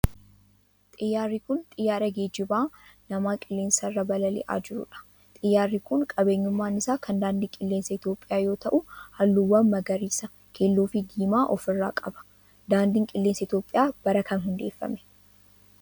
Xiyyaarri kun, xiyyaara geejiba namaa qilleensa irra balali'aa jiruu dha. Xiyyaarri kun, qabeenyummaan isaa kan daandii qilleensaa Itoophiyaa yoo ta'u, haalluuwwan magariisa, keelloo fi diimaa of irraa qaba. Daandiin qilleensaa Itoophiyaa bara kam keessa hundeeffame?